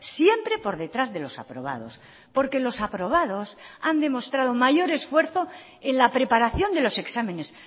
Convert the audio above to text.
siempre por detrás de los aprobados porque los aprobados han demostrado mayor esfuerzo en la preparación de los exámenes